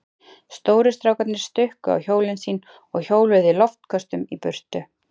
Stóru strákarnir stukku á hjólin sín og hjóluðu í loftköstum í burtu.